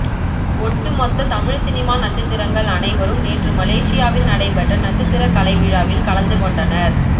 ஒட்டுமொத்த தமிழ் சினிமா நட்சத்திரங்கள் அனைவரும் நேற்று மலேசியாவில் நடைபெற்ற நட்சத்திர கலைவிழாவில் கலந்துகொண்டனர்